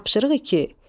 Tapşırıq iki.